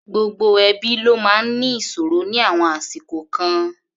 Gbogbo ẹbí ló máa ń ní ìṣòro ní àwọn àsìkò kan.